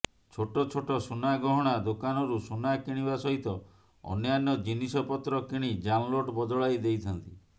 ଛୋଟଛୋଟ ସୁନାଗହଣା ଦୋକାନରୁ ସୁନା କିଣିବା ସହିତ ଅନ୍ୟାନ୍ୟ ଜିନିଷପତ୍ର କିଣି ଜାଲନୋଟ ବଦଳାଇ ଦେଇଥାନ୍ତି